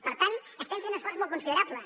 per tant estem fent un esforç molt considerable